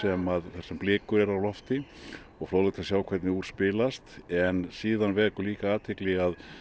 þar sem blikur eru á lofti og fróðlegt að sjá hvernig úr spilast en síðan vekur líka athygli